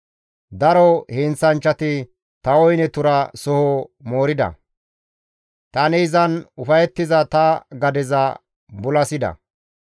Daro heenththanchchati ta woyne tura soho moorida; tani izan ufayettiza ta gadeza bulasida.